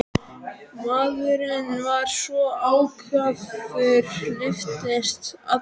Maðurinn var svo ákafur, lyftist allur.